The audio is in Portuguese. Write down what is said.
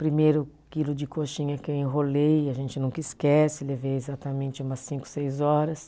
Primeiro quilo de coxinha que eu enrolei, a gente nunca esquece, levei exatamente umas cinco, seis horas.